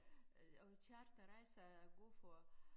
Og charterrejser er gode for